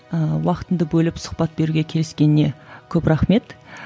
ыыы уақытыңды бөліп сұхбат беруге келіскеніңе көп рахмет